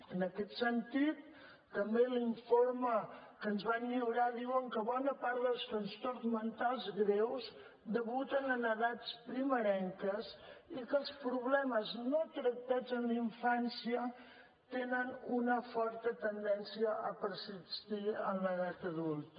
en aquest sentit també l’informe que ens van lliurar diu que bona part dels trastorns mentals greus debuten en edats primerenques i que els problemes no tractats en infància tenen una forta tendència a persistir en l’edat adulta